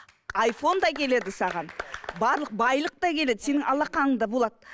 айфон да келеді саған барлық байлық та келеді сенің алақаныңда болады